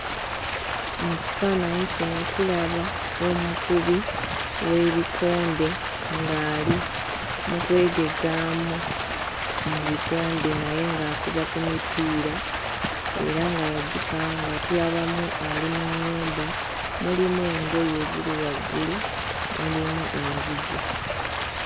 Mu kifaananyi kino tulaba omukubi w'ebikonde ng'ali mu kwegezaamu mu bikonde naye ng'akuba ku mipiira era nga yagipanga tulabamu ali mu nnyumba mulimu engoye ziri waggulu mulimu enzigi.